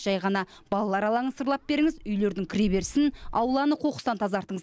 жай ғана балалар алаңын сырлап беріңіз үйлердің кіреберісін ауланы қоқыстан тазартыңыз